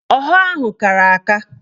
Ọha ahụ kara aka